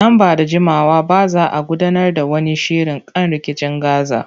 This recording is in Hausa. Nan ba da jimawa ba za a gudanar da wani shiri kan rikicin Gaza.